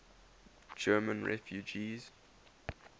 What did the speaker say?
german refugees